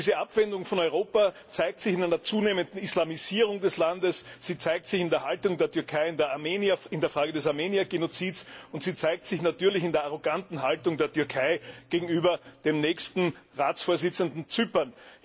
Diese Abwendung von Europa zeigt sich in einer zunehmenden Islamisierung des Landes, sie zeigt sich in der Haltung der Türkei in der Frage des Armeniergenozids, und sie zeigt sich in der arroganten Haltung der Türkei gegenüber dem nächsten Ratsvorsitzenden, Zypern.